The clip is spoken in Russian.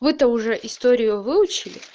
вы то уже историю выучули